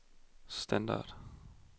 standard